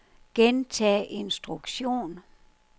gentag instruktion